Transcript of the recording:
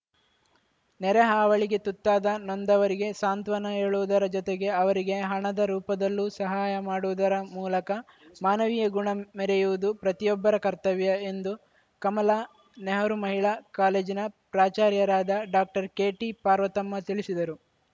ನೆರೆ ಹಾವಳಿಗೆ ತುತ್ತಾದ ನೊಂದವರಿಗೆ ಸಾಂತ್ವನ ಹೇಳುವುದರ ಜೊತೆಗೆ ಅವರಿಗೆ ಹಣದ ರೂಪದಲ್ಲೂ ಸಹಾಯ ಮಾಡುವುದರ ಮೂಲಕ ಮಾನವೀಯ ಗುಣ ಮೆರೆಯುವುದು ಪ್ರತಿಯೊಬ್ಬರ ಕರ್ತವ್ಯ ಎಂದು ಕಮಲಾ ನೆಹರು ಮಹಿಳಾ ಕಾಲೇಜಿನ ಪ್ರಾಚಾರ್ಯರಾದ ಡಾಕ್ಟರ್ ಕೆಟಿಪಾರ್ವತಮ್ಮ ತಿಳಿಸಿದರು